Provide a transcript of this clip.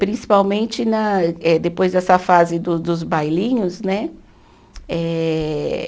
Principalmente na eh, depois dessa fase do dos bailinhos, né? Eh